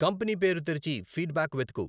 company పేరు తెరిచి feedback వెతుకు